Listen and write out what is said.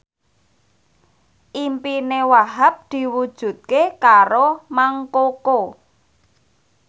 impine Wahhab diwujudke karo Mang Koko